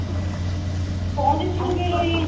କହିକି ଚୁପ ହେଇକି ରହି ଯାଇଛୁ